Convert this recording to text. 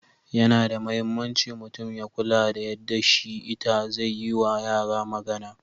Yana da mahimmanci mutum ya kula da yadda shi/ita zai yi wa yara magana.